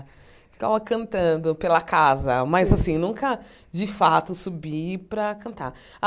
Ficava cantando pela casa, mas assim nunca, de fato, subi para cantar.